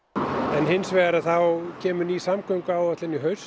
en hins vegar kemur ný samgönguáætlun í haust